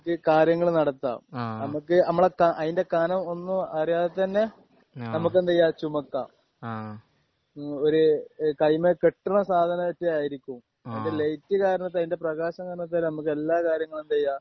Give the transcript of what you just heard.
ആഹ് നമുക്ക് കാര്യങ്ങള് നടത്താം നമുക്ക് നമ്മുടെ അയിന്റെ കനം ഒന്നും അറിയാതെ തന്നെ ആഹ് നമുക്ക് എന്ത് ചെയ്യാം ചുമക്കാം. ആഹ് ഒരു ഒരു കയ്യിമ്മേ കെട്ടുന്ന സാധനംറ്റേ ആയിരിക്കും. ആഹ് അതിന്റെ ലൈറ്റ് കാരണത്താൽ അതിന്റെ പ്രകാശം കാരണത്താൽ നമ്മക്ക് എല്ലാ കാര്യങ്ങളും എന്ത് ചെയ്യാം?